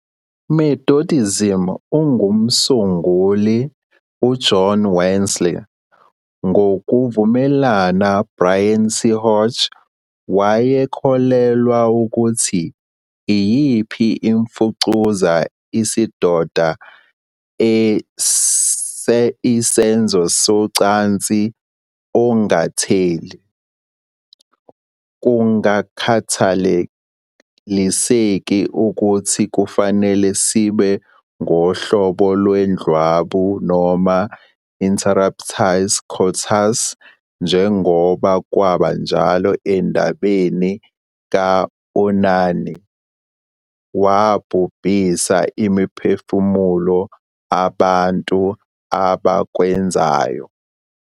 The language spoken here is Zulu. "Methodism umsunguli uJohn Wesley, ngokuvumelana Bryan C. Hodge, "wayekholelwa ukuthi iyiphi imfucuza isidoda e isenzo socansi ongatheli, kungakhathaliseki ukuthi kufanele sibe ngohlobo indlwabu noma "interruptus coitus," njengoba kwaba njalo endabeni ka-Onani, wabhubhisa imiphefumulo abantu abakwenzayo ".